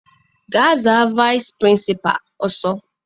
Gaa za vaịsị pịrịnsịpalụ ọsọ!